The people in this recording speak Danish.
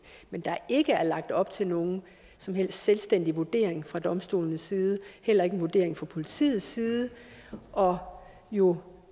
men der er ikke lagt op til nogen som helst selvstændig vurdering fra domstolenes side heller ikke en vurdering fra politiets side og jo